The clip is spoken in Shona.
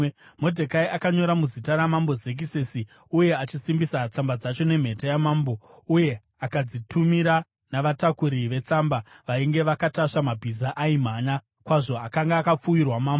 Modhekai akanyora muzita raMambo Zekisesi, uye akasimbisa tsamba dzacho nemhete yamambo, uye akadzitumira navatakuri vetsamba vainge vakatasva mabhiza aimhanya kwazvo akanga akapfuwirwa mambo.